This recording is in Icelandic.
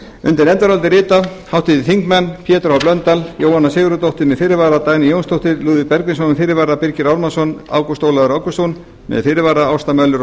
undir nefndarálitið rita háttvirtir þingmenn pétur h blöndal jóhanna sigurðardóttir með fyrirvara dagný jónsdóttir lúðvík bergvinsson með fyrirvara birgir ármannsson ágúst ólafur ágústsson með fyrirvara ásta möller